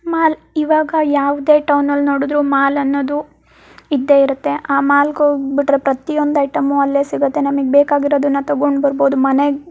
mall ಇವಾಗ ಯಾವದೇ turn ಅಲ್ಲೂ ನೋಡಿದ್ರು ಮಾಲ್ ಅನ್ನೋದು ಇದ್ದೆ ಇರುತ್ತೆ ಆ ಮಾಲ್ ಹೋಗ್ಬಿಟ್ರೆ ಪ್ರತಿಯೊಂದ್ ಐಟಂ ಅಲ್ಲೇ ಸಿಗುತ್ತೆ ನಮಿಗ್ ಬೇಕಾಗಿರೋದನ್ನ ತಗೊಂಡ್ ಬರ್ಬಹುದು ಮನೆಗ್ --